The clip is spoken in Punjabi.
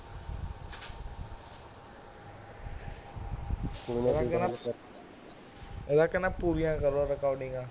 ਪਹਿਲਾਂ ਕਹਿੰਦਾ ਪੂਰੀਆਂ ਕਰ recordings